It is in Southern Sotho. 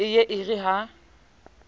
e ye e re ha